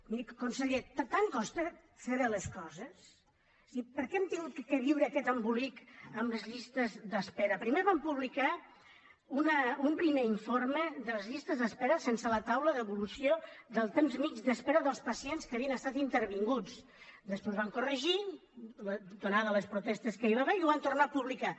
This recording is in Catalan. miri conseller tant costa fer bé les coses és a dir per què hem hagut de viure aquest embolic amb les llistes d’espera primer van publicar un primer informe de les llistes d’espera sense la taula d’evolució del temps mitjà d’espera dels pacients que havien estat intervinguts després ho van corregir ateses les protestes que hi va haver i ho van tornar a publicar